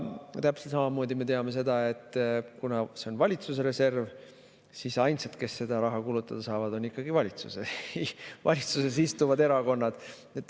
Täpselt samamoodi me teame seda, et kuna see on valitsuse reserv, siis ainsad, kes seda raha kulutada saavad, on ikkagi valitsuses istuvad erakonnad.